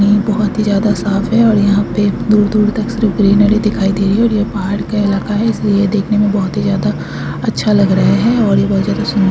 बोहत ही ज्यादा साफ़ है और यहाँ पे दूर - दूर तक सिर्फ ग्रीनरी दिखाई दे रही है और ये पहाड़ का इलाका है इसलिए यह देखने में बहुत ही ज्यादा अच्छा लग रहा है और ये बहोत ज्यादा सुंदर --